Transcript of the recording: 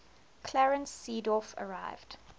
clarence seedorf arrived